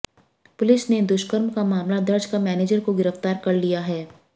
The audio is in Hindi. पुलिस ने दुष्कर्म का मामला दर्ज कर मैनेजर को गिरफ्तार कर लिया है